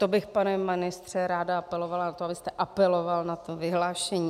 To bych, pane ministře, ráda apelovala na to, abyste apeloval na to vyhlášení.